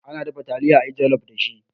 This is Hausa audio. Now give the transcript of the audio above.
Ana dafa taliya a yi jalof dashi.